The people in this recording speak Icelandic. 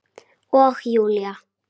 Og Júlía